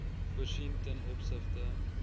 voorsien ten opsigte